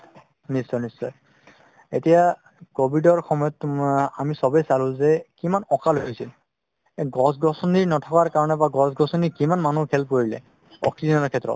নিশ্চয় নিশ্চয় এতিয়া ক্ভিদ সময় তুমাৰ আমি চবে চালো যে কিমান অকাল হৈছিল এই গছ গছনি নাথাকাৰ কাৰণে বা গছ গছনি কিমান মানুহ help কৰিলে oxygen শেত্ৰত